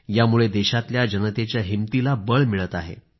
यामुळे देशातल्या जनतेच्या हिंमतीला बळ मिळत आहे